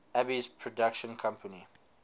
alby's production company